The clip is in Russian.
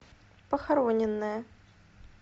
похороненная